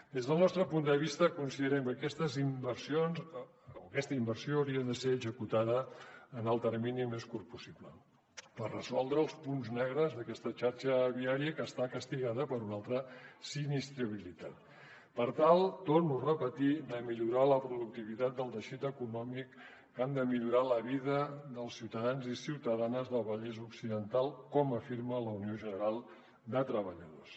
des del nostre punt de vista considerem que aquesta inversió hauria de ser executada en el termini més curt possible per resoldre els punts negres d’aquesta xarxa viària que està castigada per una alta sinistralitat per tal ho torno a repetir de millorar la productivitat del teixit econòmic que ha de millorar la vida dels ciutadans i ciutadanes del vallès occidental com afirma la unió general de treballadors